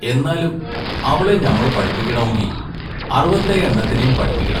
എന്നാലും അവളെ ഞമ്മളു പടിപ്പിക്കണോങ്കി അറുവത്തേയെണ്ണത്തിനേം പടിപ്പിക്കണം.